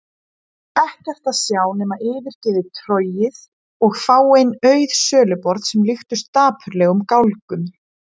Ekkert að sjá nema yfirgefið torgið og fáein auð söluborð sem líktust dapurlegum gálgum.